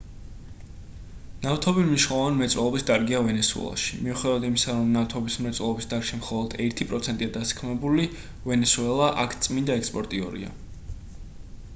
ნავთობი მნიშვნელოვანი მრეწველობის დარგია ვენესუელაში მიუხედავად იმისა რომ ნავთობის მრეწველობის დარგში მხოლოდ ერთი პროცენტია დასაქმებული ვენესუელა აქ წმინდა ექსპორტიორია